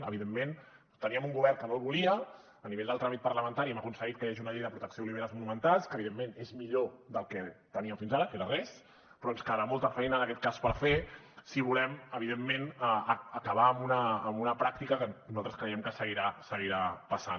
evidentment teníem un govern que no el volia a nivell del tràmit parlamentari hem aconseguit que hi hagi una llei de protecció d’oliveres monumentals que evidentment és millor que el que teníem fins ara que era res però ens quedarà molta feina en aquest cas per fer si volem evidentment acabar amb una pràctica que nosaltres creiem que seguirà passant